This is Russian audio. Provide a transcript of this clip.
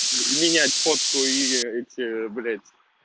менять фотку ии эти блять